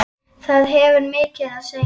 Það hefur mikið að segja.